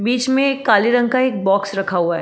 बीच में एक काले रंग का एक बॉक्स रखा हुआ है।